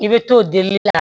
I bɛ t'o dili